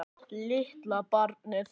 Litla barnið.